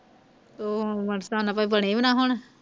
ਤੋਂ ਬਣੇ ਵੀ ਨਾ ਹੁਣ